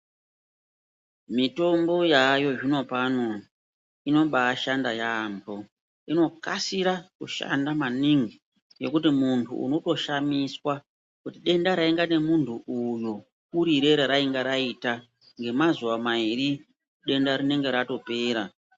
Mitombo yaayo zvinopano inobashanda yaambo. Inokasira kushanda maningi ngekuti muntu unotoshamiswa kuti denda rainga nemunhu uyo kurire reranga raita ngemazuwa mairi denda rinenge ratopera.